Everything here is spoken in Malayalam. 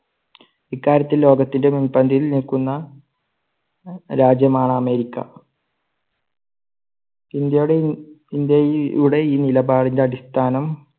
ഇക്കാര്യത്തിൽ ലോകത്തിന്റെ മുൻപന്തിയിൽ നിൽക്കുന്ന രാജ്യമാണ് അമേരിക്ക. ഇന്ത്യയുടെ ഇവിടെ ഈ നിലപാടിന്റെ അടിസ്ഥാനം